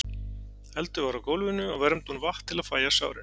eldur var á gólfinu og vermdi hún vatn til að fægja sárin